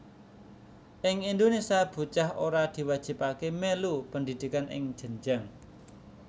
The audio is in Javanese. Ing Indonésia bocah ora diwajibaké mèlu pendhidhikan ing jenjang